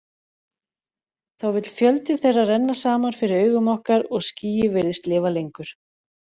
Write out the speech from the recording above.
Þá vill fjöldi þeirra renna saman fyrir augum okkar og skýið virðist lifa lengur.